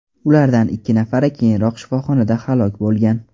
Ulardan ikki nafari keyinroq shifoxonada halok bo‘lgan.